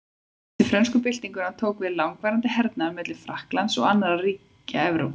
Eftir frönsku byltinguna tók við langvarandi hernaður milli Frakklands og annarra ríkja Evrópu.